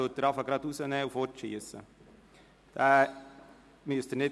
Diesen müssen Sie nicht ausfüllen, sondern können ihn gleich wegwerfen.